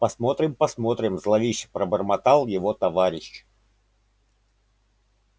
посмотрим посмотрим зловеще пробормотал его товарищ